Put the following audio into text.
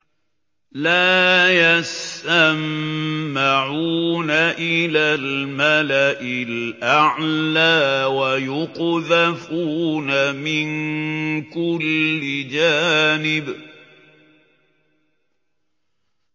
لَّا يَسَّمَّعُونَ إِلَى الْمَلَإِ الْأَعْلَىٰ وَيُقْذَفُونَ مِن كُلِّ جَانِبٍ